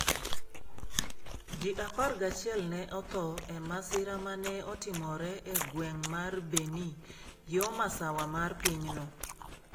Ji 11 ne otho e masira ma ne otimore e gweng' mar Beni, yo masawa mar pinyno.